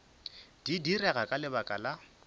di direga ka lebaka la